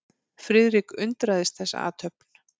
Friðrik undraðist þessa athöfn.